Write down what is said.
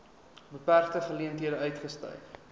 beperkte geleenthede uitgestyg